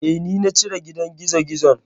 Eh, ni na cire gidan gizogizon.